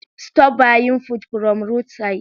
Stop buying food from rood sides